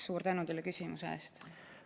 Suur tänu teile küsimuse eest!